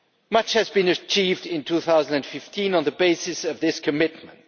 Much has been achieved in 2015 on the basis of this commitment.